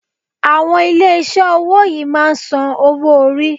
Àwọn ilé iṣé owó yìí máà ń sàn owo orí.